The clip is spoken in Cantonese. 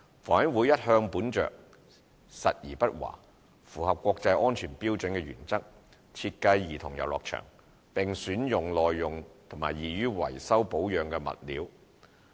房委會一向本着實而不華、符合國際安全標準的原則設計兒童遊樂場，並選用耐用和易於維修保養的物料。